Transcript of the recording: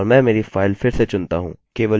केवल जानने के लिए कि यह वहाँ है